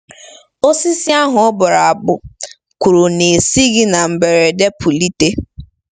Osisi ahụ ọbụ abụ kwuru na-esighị na mberede pulite.